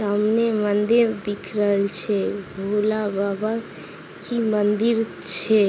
सामने मंदिर दिख रहल छैभोलेबाबा की मंदिर छै ।